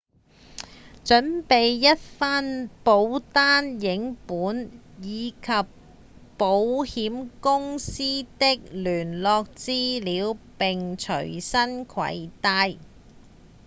準備一份保單影本以及保險公司的聯絡資料並隨身攜帶